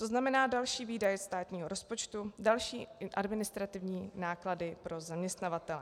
To znamená další výdaje státního rozpočtu, další administrativní náklady pro zaměstnavatele.